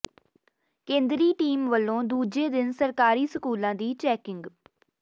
ਕੇਂਦਰੀ ਟੀਮ ਵੱਲੋਂ ਦੂਜੇ ਦਿਨ ਸਰਕਾਰੀ ਸਕੂਲਾਂ ਦੀ ਚੈਕਿੰਗ